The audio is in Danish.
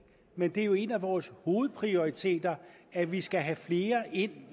men det er jo en af vores hovedprioriteter at vi skal have flere ind